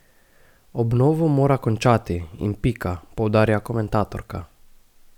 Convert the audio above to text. Obnovo mora končati in pika, poudarja komentatorka.